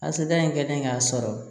Asadiya in kɛlen k'a sɔrɔ